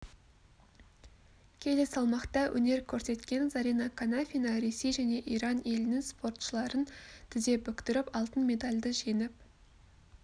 келі салмақта өнер көрсеткен зарина қанафина ресей және иран елінің спортшыларын тіз бүктіріп алтын медальді жеңіп